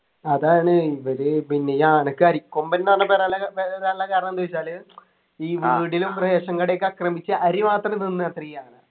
അതാണ് ഇവര് പിന്നെ ഈ ആനക്ക് അരിക്കൊമ്പൻന്നു പറഞ്ഞ വരാനില്ല വരാനുള്ള കാരണം എന്ത് ചോയിച്ചാല് ഈ വീടിനും ration കടയൊക്കെ അക്രമിച്ച് അരി മാത്രം തിന്നത്രെ ഈ ആന